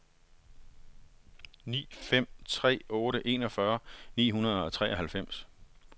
ni fem tre otte enogfyrre ni hundrede og treoghalvfems